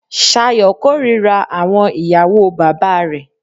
Sayo kòrira àwọn ìyàwó bàbá re.